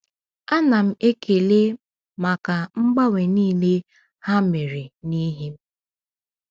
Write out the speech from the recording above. A na m ekele maka mgbanwe niile ha mere n’ihi m.